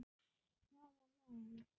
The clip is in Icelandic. Hvaða lán?